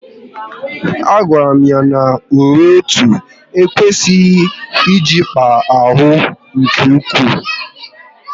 A gwara m ya na uwe otu ekwesịghị ịjikpa ahụ nke ụkwụ